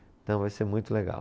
Então vai ser muito legal.